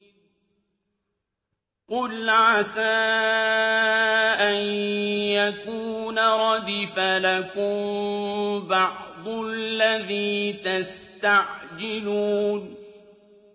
قُلْ عَسَىٰ أَن يَكُونَ رَدِفَ لَكُم بَعْضُ الَّذِي تَسْتَعْجِلُونَ